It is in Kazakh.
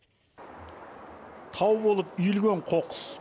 тау болып үйілген қоқыс